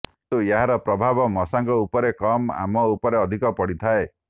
କିନ୍ତୁ ଏହାର ପ୍ରଭାବ ମଶାଙ୍କ ଉପରେ କମ ଆମ ଉପରେ ଅଧିକ ପଡିଥାଏ